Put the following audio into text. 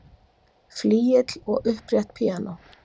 Flygill og upprétt píanó.